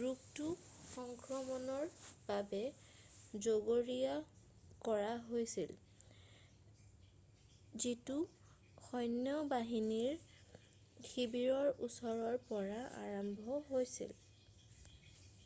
ৰোগটো সংক্ৰমণৰ বাবে জগৰীয়া কৰা হৈছিল যিটো সৈন্য বাহিনীৰ শিবিৰৰ ওচৰৰ পৰা আৰম্ভ হৈছিল